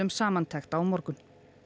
samantekt á morgun